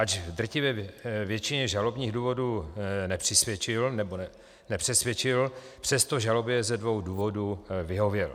Ač drtivé většině žalobních důvodů nepřisvědčil, přesto žalobě ze dvou důvodů vyhověl.